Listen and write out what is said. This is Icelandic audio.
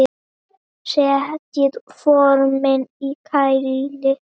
Setjið formin í kæli.